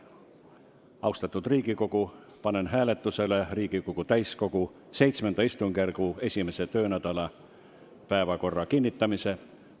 Austatud Riigikogu, panen hääletusele Riigikogu täiskogu VII istungjärgu 1. töönädala päevakorra kinnitamise.